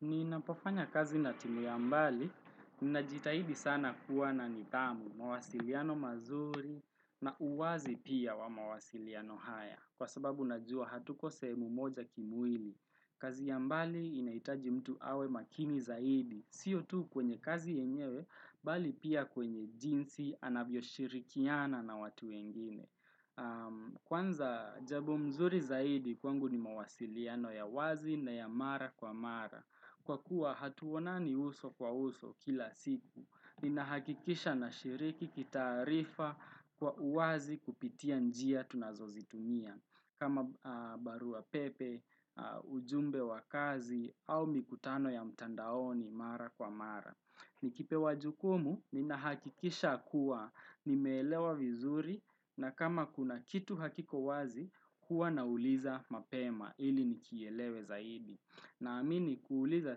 Ninapofanya kazi na timu ya mbali, ninajitahidi sana kuwa na nidhamu, mawasiliano mazuri na uwazi pia wa mawasiliano haya. Kwa sababu najua hatuko sehemu moja kimwili. Kazi ya mbali inaitaji mtu awe makini zaidi. Sio tu kwenye kazi yenyewe, bali pia kwenye jinsi anavyo shirikiana na watu wengine. Kwanza jabo mzuri zaidi kwangu ni mawasiliano ya wazi na ya mara kwa mara Kwa kuwa hatuonani uso kwa uso kila siku Ninahakikisha na shiriki kitaarifa kwa uazi kupitia njia tunazo zitumia kama barua pepe, ujumbe wa kazi au mikutano ya mtandaoni mara kwa mara Nikipewa jukumu ninahakikisha kuwa nimeelewa vizuri na kama kuna kitu hakiko wazi huwa nauliza mapema ili nikielewe zaidi. Naamini kuuliza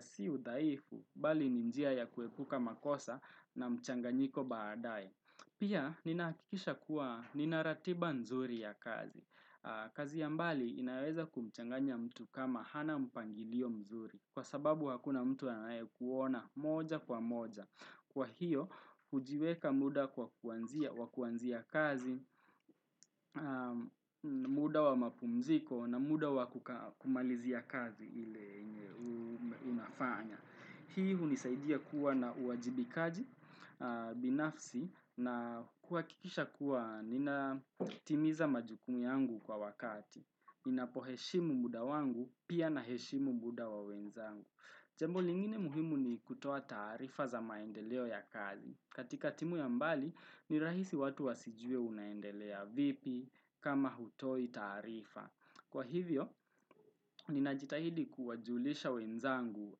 si udhaifu bali ni njia ya kuepuka makosa na mchanganyiko baadae. Pia ninahakikisha kuwa nina ratiba nzuri ya kazi. Kazi ya mbali inaweza kumchanganya mtu kama hana mpangilio mzuri kwa sababu hakuna mtu anaye kuona moja kwa moja kwa hiyo hujiweka muda kwa kuanzia kazi, muda wa mapumziko na muda wa kumalizia kazi ili unafanya. Hii hunisaidia kuwa na uwajibikaji binafsi na kuwakikisha kuwa ninatimiza majukumu yangu kwa wakati. Ninapo heshimu muda wangu pia naheshimu muda wa wenzangu. Jambo lingine muhimu ni kutoa taarifa za maendeleo ya kazi. Katika timu ya mbali ni rahisi watu wasijue unaendelea vipi kama hutoi taarifa. Kwa hivyo, ninajitahidi kuwajulisha wenzangu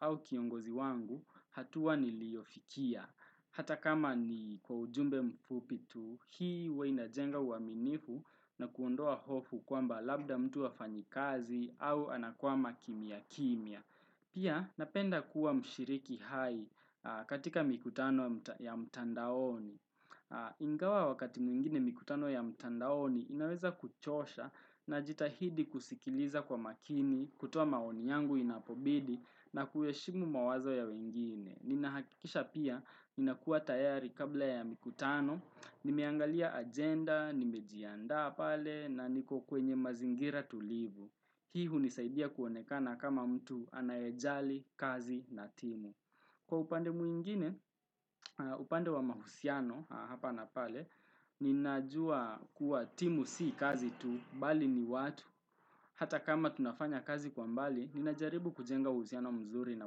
au kiongozi wangu hatua niliofikia. Hata kama ni kwa ujumbe mfupitu, hii huwa ina jenga uwaminifu na kuondoa hofu kwamba labda mtu afanyi kazi au anakwama kimya kimya. Pia, napenda kuwa mshiriki hai katika mikutano ya mtandaoni. Ingawa wakati mwingine mikutano ya mtandaoni inaweza kuchosha najitahidi kusikiliza kwa makini, kutoa maoni yangu inapobidi na kuheshimu mawazo ya wengine Ninahakisha pia inakuwa tayari kabla ya mikutano, nimeangalia agenda, nimejiandaa pale na niko kwenye mazingira tulivu Hii hunisaidia kuonekana kama mtu anaejali kazi na timu Kwa upande mwingine, upande wa mahusiano hapa na pale, ninajua kuwa timu si kazi tu, bali ni watu, hata kama tunafanya kazi kwa mbali, ninajaribu kujenga u usiano mzuri na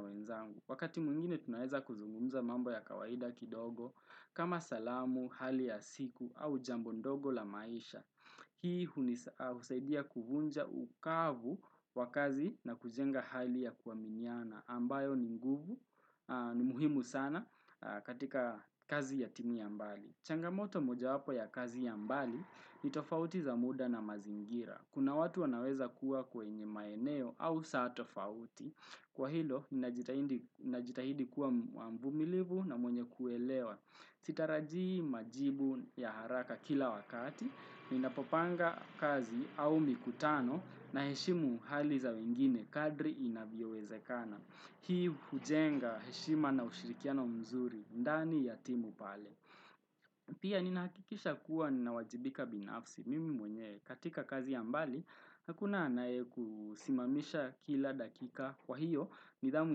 wenzangu. Wakati mwingine tunaweza kuzungumza mambo ya kawaida kidogo, kama salamu, hali ya siku, au jambo ndogo la maisha. Hii husaidia kuvunja ukavu wa kazi na kujenga hali ya kuwaminiana ambayo ni guvu ni muhimu sana katika kazi ya timu ya mbali. Changamoto mojawapo ya kazi ya mbali ni tofauti za muda na mazingira. Kuna watu wanaweza kuwa kwenye maeneo au saa tofauti. Kwa hilo, najitahidi kuwa mvumilivu na mwenye kuelewa. Sitarajii majibu ya haraka kila wakati, ninapopanga kazi au mikutano naheshimu hali za wengine kadri inaviyowezekana. Hii hujenga heshima na ushirikiano mzuri, ndani ya timu pale. Pia ninahakikisha kuwa ninawajibika binafsi mimi mwenyewe katika kazi ya mbali, hakuna nae kusimamisha kila dakika kwa hiyo, nidhamu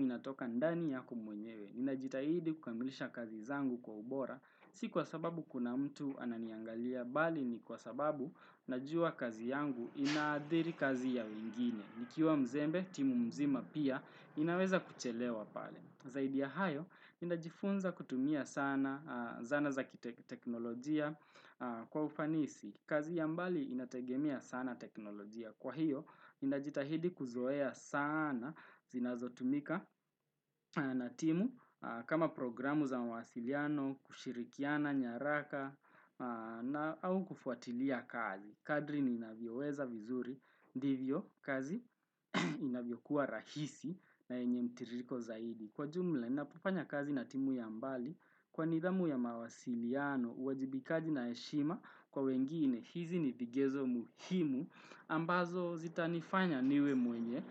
inatoka ndani yako mwenyewe. Nina jitahidi kukamilisha kazi zangu kwa ubora, si kwa sababu kuna mtu ananiangalia, bali ni kwa sababu najua kazi yangu inaadhiri kazi ya wengine. Nikiwa mzembe, timu mzima pia, inaweza kuchelewa pale. Zaidi ya hayo, ninajifunza kutumia sana zana za kiteknolojia kwa ufanisi. Kazi ya mbali inategemea sana teknolojia. Kwa hiyo, ninajitahidi kuzoea sana zinazotumika na timu kama programu za mawasiliano, kushirikiana, nyaraka, au kufuatilia kazi. Kadri ninavyoweza vizuri, ndivyo kazi inavyokuwa rahisi na yenye mtiririko zaidi. Kwa jumla, napofanya kazi na timu ya mbali, kwa nidhamu ya mawasiliano, uwajibikaji na heshima, kwa wengine, hizi ni vigezo muhimu, ambazo zitanifanya niwe mwenye.